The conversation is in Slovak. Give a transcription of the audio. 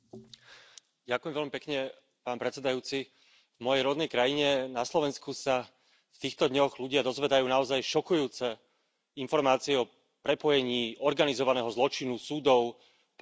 Pán predsedajúci, v mojej rodnej krajine, na Slovensku, sa v týchto dňoch ľudia dozvedajú naozaj šokujúce informácie o prepojení organizovaného zločinu, súdov, prokuratúry a politiky.